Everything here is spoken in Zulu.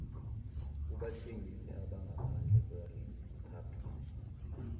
kubathengisi abangaphandle kweriphabhliki